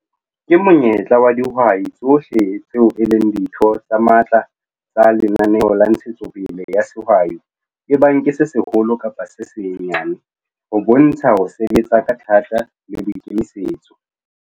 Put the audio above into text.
KE MONYETLA WA DIHWAI TSOHLE TSEO E LENG DITHO TSE MATLA TSA LENANEO LA NTSHETSOPELE YA SEHWAI, EBANG KE SE SEHOLO KAPA SE SENYANE, HO BONTSHA HO SEBETSA KA THATA LE BOIKEMISETSO.